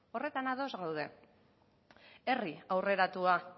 horretan ados gaude herri aurreratua